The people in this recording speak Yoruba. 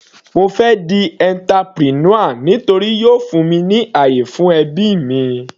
Mo fẹ́ di entrepreneur nítorí yóò fún mi ní àyè fún ẹbí mi.